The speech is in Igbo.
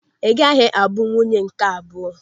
Ị gaghị abụ nwunye nke abụọ!